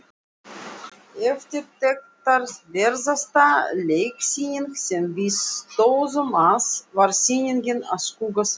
Eftirtektarverðasta leiksýningin, sem við stóðum að, var sýning á Skugga-Sveini.